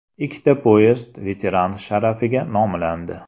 Ikkita poyezd veteran sharafiga nomlandi.